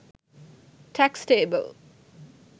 tax table